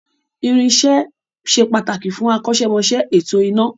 Irin-iṣẹ se pàtàkì fún akọ́ṣẹ́mọṣẹ́ ètò iná